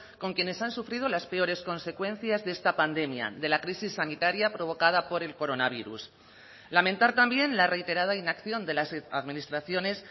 con quienes han sufrido las peores consecuencias de esta pandemia de la crisis sanitaria provocada por el coronavirus lamentar también la reiterada inacción de las administraciones